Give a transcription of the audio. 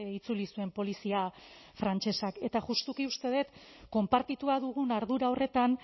itzuli zuen polizia frantsesak eta justuki uste dut konpartitua dugun ardura horretan